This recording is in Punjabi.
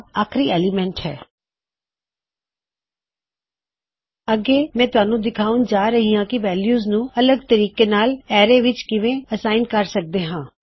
ਠੀਕ ਹੈ ਹੁਣ ਮੈਂ ਅੱਗੇ ਜਾ ਰਿਹਾ ਹਾਂ ਅਤੇ ਮੈਂ ਤੁਹਾਨੂੰ ਦਿਖਾਣ ਜਾ ਰਿਹਾ ਹਾਂ ਕੀ ਵੈਲਯੂਜ ਨੂੰ ਅਲਗ ਤਰੀਕੇ ਨਾਲ ਅਰੈ ਵਿੱਚ ਕਿਵੇਂ ਅਸਾਇਨ ਕਰ ਸਕਦੇ ਹਾਂ